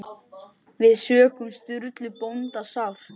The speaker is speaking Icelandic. Við söknum Sturlu bónda sárt.